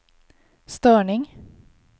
störning